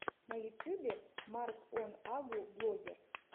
на ютьюбе марк он агу блогер